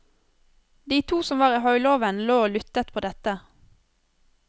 De to som var i høylåven, lå og lydde på dette.